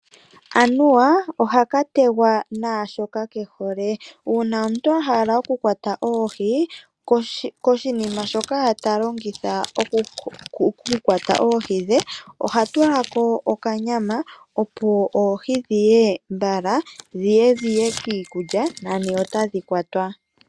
Anuwa ohaka tegwa naashoka kehole. Uuna omuntu ta kwata oohi, koshinima shoka ta longitha okukwata oohi dhe iha tulako okanyama opo oohi dhiye mbala. Dhiye dhiye kiikulya nani otadhi kwatwa.